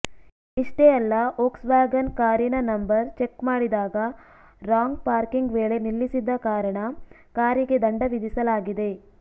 ಇಷ್ಟೇ ಅಲ್ಲ ವೋಕ್ಸ್ವ್ಯಾಗನ್ ಕಾರಿನ ನಂಬರ್ ಚೆಕ್ ಮಾಡಿದಾಗ ರಾಂಗ್ ಪಾರ್ಕಿಂಗ್ ವೇಳೆ ನಿಲ್ಲಿಸಿದ ಕಾರಣ ಕಾರಿಗೆ ದಂಡ ವಿಧಿಸಲಾಗಿದೆ